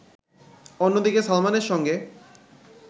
অন্যদিকে সালমানের সঙ্গে